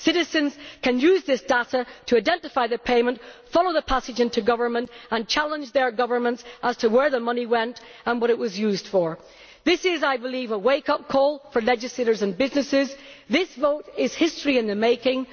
Citizens can use this data to identify payments, follow the passage into government and challenge their governments as to where the money went and what it was used for. This is a wake up call for legislators and businesses. This vote is history in the making.